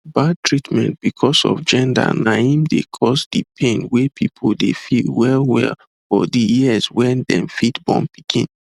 bad treatment because of gender na him dey cause di pain wey people dey feel well well for di years wen them fit born pikin